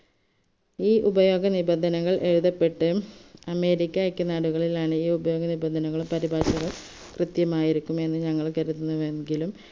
ഈ ഉപയോഗനിബന്ധനകൾ എഴുതപ്പെട്ട് അമേരിക്കക് നാടുകളിലാണ് ഈ ഉപയോഗനിബന്ധനകളും പരിപാടികളും കൃത്യമായിരിക്കുമെന്ന് ഞങ്ങൾ കരുതുന്നുവെങ്കിലും